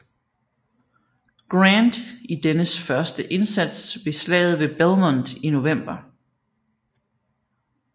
Grant i dennes første indsats ved Slaget ved Belmont i november